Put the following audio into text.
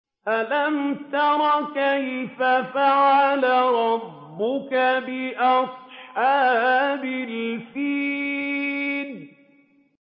أَلَمْ تَرَ كَيْفَ فَعَلَ رَبُّكَ بِأَصْحَابِ الْفِيلِ